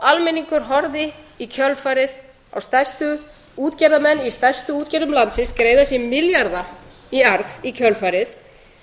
almenningur horfði í kjölfarið á útgerðarmenn í stærstu útgerðum landsins greiða sér milljarða í arð í kjölfarið